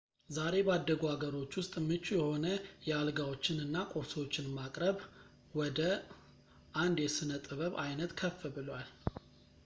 ዛሬ ባደጉ አገሮች ውስጥ ምቹ የሆነ የአልጋዎችን እና ቁርሶችን ማቅረብ ወደ አንድ የሥነ ጥበብ ዓይነት ከፍ ብሏል